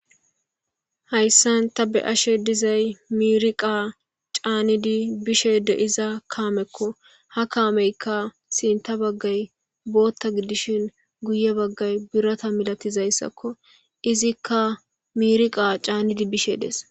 Hayssan ta be ashe dizay miriqa caanidi bishe deiza kaamekko ha kaameyka sinta baggay bootta gidishin guye baggay birata milatizayssakko izikka mirqa caanidi bishe dees.